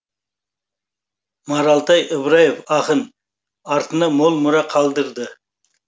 маралтай ыбыраев ақын артына мол мұра қалдырды